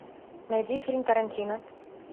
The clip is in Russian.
найди фильм тарантино